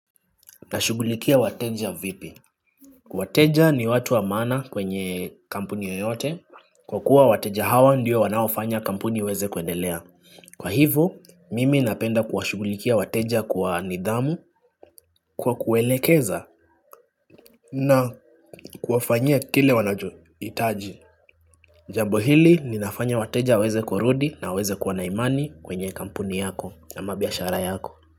Nashughulikia wateja vipi. Wateja ni watu wa maana kwenye kampuni yoyote. Kwa kuwa wateja hawa ndiyo wanaofanya kampuni iweze kuendelea. Kwa hivo, mimi napenda kuwashugulikia wateja kwa nidhamu kwa kuelekeza na kuwafanyia kile wanachoitaji. Jambo hili ninafanya wateja waeze kurudi na waeze kuwa na imani kwenye kampuni yako ama biashara yako.